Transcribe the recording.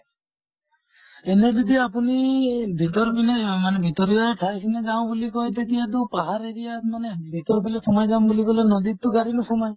এনে যদি আপোনি ভিতৰ পিনে আহ মানে ভিতৰিয়া ঠাই খিনিত যাওঁ বুলি কয় তেতিয়াতো পাহাৰ area ত মানে ভিতৰৰ ফালে সোমাই যাম বুলি কʼলে নদীত টো গাড়ী নোসোমায়।